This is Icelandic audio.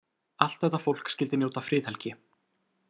Allt þetta fólk skyldi njóta friðhelgi.